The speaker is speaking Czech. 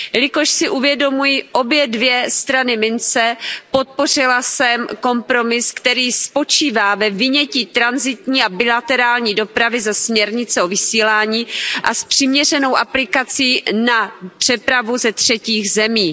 Jelikož si uvědomuji obě dvě strany mince, podpořila jsem kompromis, který spočívá ve vynětí tranzitní a bilaterální dopravy ze směrnice o vysílání a počítá s přiměřenou aplikací na přepravu ze třetích zemí.